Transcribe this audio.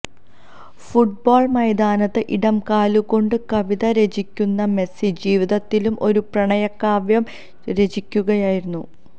football മൈതാനത്ത് ഇടംകാലുകൊണ്ട് കവിത രചിക്കുന്ന മെസി ജീവിതത്തിലും ഒരു പ്രണയകാവ്യം രചിക്കുകയായിരുന്നു